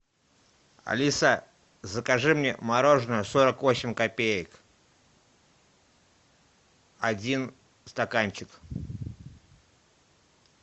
алиса закажи мне мороженое сорок восемь копеек один стаканчик